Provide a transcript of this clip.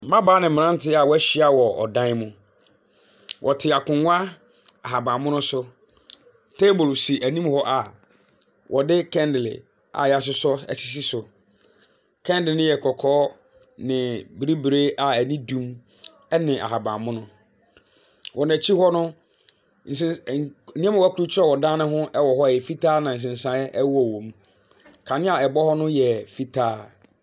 Mmabaawa ne mmeranteɛ a wɔahyia wɔ dan bi mu, wɔte akonnwa ahabnmono so. Table si anim hɔ wɔde candle a wɔasosɔ asisi so, candle ne yɛ kɔkɔɔ na bibire a ani dum na ahabanmono. Wɔn akyi hɔ no, nsen mfonin a krukye wɔ hɔ nsesan wɔ mu. Kanea a ɛbɔ hɔ no yɛ fitaa.